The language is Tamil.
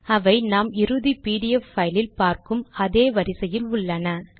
அவை நாம் இறுதி பிடிஎஃப் பைல் இல் பார்க்கும் அதே வரிசையில் உள்ளன